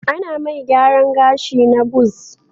Ana mai gyaran gashi na buzz